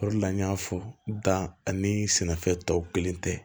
O de la n y'a fɔ da ani sɛnɛfɛn tɔw kelen tɛ